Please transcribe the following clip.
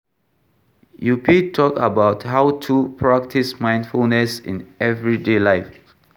You fit talk about how to practice mindfulness in everyday life.